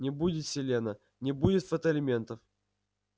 не будет селена не будет фотоэлементов